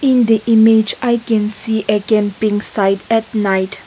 In the image I can see a camping site at night.